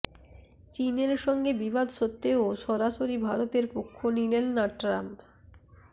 চীনের সঙ্গে বিবাদ সত্ত্বেও সরাসরি ভারতের পক্ষ নিলেন না ট্রাম্প